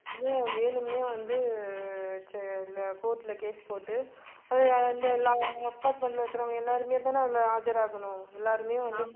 வந்து வேணும்னே வந்து உ court ல case போட்டு அஹ் அந்த எல்லா apartment ல இருக்கிறவங்க எல்லாருமே தான அதுல ஆஜராகணும் எல்லாருமே வந்து